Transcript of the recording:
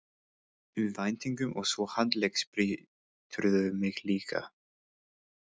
um væntingum og svo handleggsbrýturðu mig líka.